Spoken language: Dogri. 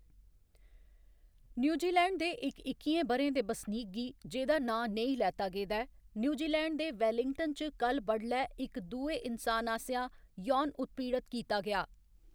न्यूजीलैंड दे इक इक्कियें ब'रें दे बसनीक गी, जेह्‌दा नांऽ नेईं लैता गेदा ऐ, न्यूजीलैंड दे वेलिंगटन च कल्ल बडलै इक दुए इन्सान आसेआ यौन उत्पीड़त कीता गेआ।